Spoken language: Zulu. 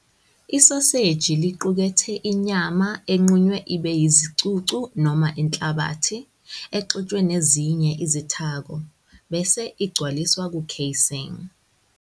Isoseji liqukethe inyama enqunywe ibe yizicucu noma inhlabathi, exutshwe nezinye izithako, bese igcwaliswa ku-casing.